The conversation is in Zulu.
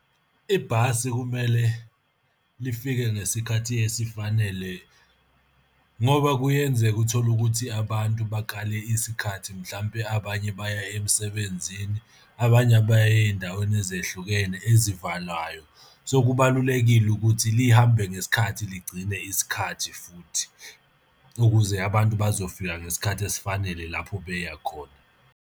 Ibhasi kumele lifike ngesikhathi esifanele ngoba kuyenzeka uthole ukuthi abantu bakale isikhathi mhlampe abanye baya emsebenzini, abanye baya ey'ndaweni ezehlukene ezivalwayo. So, kubalulekile ukuthi lihambe ngesikhathi ligcine isikhathi futhi, ukuze abantu bazofika ngesikhathi esifanele lapho beya khona.